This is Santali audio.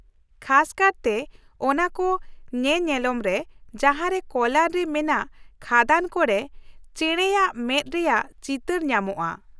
ᱠᱷᱟᱥ ᱠᱟᱨᱛᱮ ᱚᱱᱟ ᱠᱚ ᱧᱮᱱᱮᱞᱚᱢ ᱨᱮ ᱡᱟᱦᱟᱸᱨᱮ ᱠᱳᱞᱟᱨ ᱨᱮ ᱢᱮᱱᱟᱜ ᱠᱷᱟᱫᱟᱱ ᱠᱚ ᱨᱮ ᱪᱮᱬᱮᱭᱟᱜ ᱢᱮᱫ ᱨᱮᱭᱟᱜ ᱪᱤᱛᱟᱹᱨ ᱧᱟᱢᱚᱜᱼᱟ ᱾